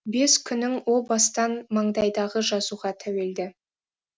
бес күнің о бастан маңдайдағы жазуға тәуелді